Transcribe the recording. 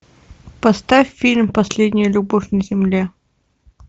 поставь фильм последняя любовь на земле